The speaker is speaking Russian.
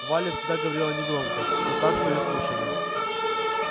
валя всегда говорила негромко но так что её слушали